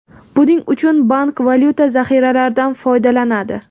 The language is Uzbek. Buning uchun bank valyuta zaxiralaridan foydalanadi.